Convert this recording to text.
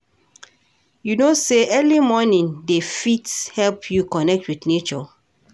You know sey early morning dey fit help you connect wit nature?